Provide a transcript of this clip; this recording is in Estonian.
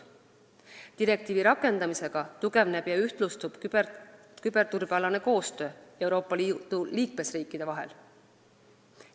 Direktiivi rakendamisega tugevneb ja ühtlustub küberturbekoostöö Euroopa Liidu riikide vahel.